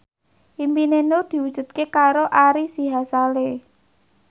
impine Nur diwujudke karo Ari Sihasale